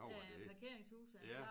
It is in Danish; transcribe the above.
Ja parkeringshuset